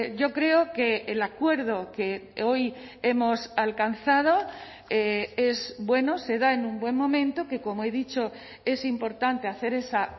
yo creo que el acuerdo que hoy hemos alcanzado es bueno se da en un buen momento que como he dicho es importante hacer esa